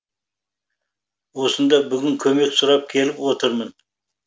осында бүгін көмек сұрап келіп отырмын